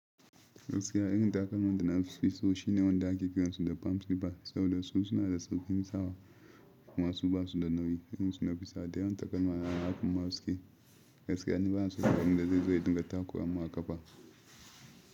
Gaskiya irin takalman wanda nafi so shine wanda ake kiransa da palm skipper saboda su suna da sauƙin isa wa kumasu ba su da nauyi. Irin su nafi sa da yawan taken wa na haku masu ke gaskiya ne ba na so abinda zai zo ya dinga takura mawaƙafa.